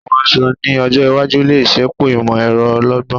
Àwọn aṣọ ni ọjọ́ iwájú le ṣepọ imọ-ẹrọ ọlọ́gbọ́n